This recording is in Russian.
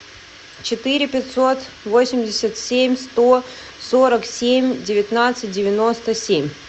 четыре пятьсот восемьдесят семь сто сорок семь девятнадцать девяносто семь